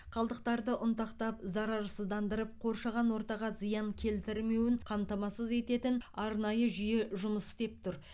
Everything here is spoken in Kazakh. қалдықтарды ұнтақтап зарарсыздандырып қоршаған ортаға зиян келтірмеуін қамтамасыз ететін арнайы жүйе жұмыс істеп тұр